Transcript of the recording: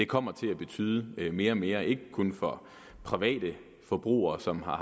kommer til at betyde mere og mere ikke kun for private forbrugere som har